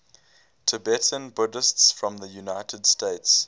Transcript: tibetan buddhists from the united states